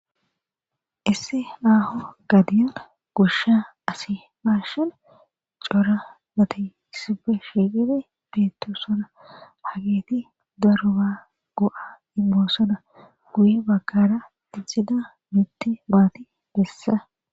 isse aaho gadiyona gusha asi baashan cora mati sibe sheeqibe beetto sona hageeti doroba go7a imboosoda guye bakara ihida mitti maati bessa